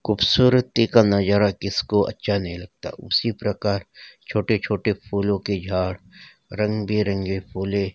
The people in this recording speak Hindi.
खूबसूरती का नजारा किसको अच्छा नहीं लगता उसी प्रकार छोटे छोटे फूलों के झाड़ रंग बिरंगे फूल--